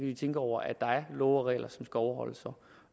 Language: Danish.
de tænke over at der er love og regler som skal overholdes